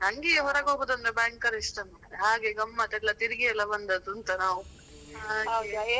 ನನ್ಗೆ ಹೊರಗೆ ಹೋಗುದಂದ್ರೆ ಭಯಂಕರ ಇಷ್ಟ ಮಾರೆ ಹಾಗೆ ಗಮ್ಮತ್ ಎಲ್ಲಾ ತಿರ್ಗಿ ಎಲ್ಲಾ ಬಂದದುಂತ ನಾವು ಹಾಗೆ .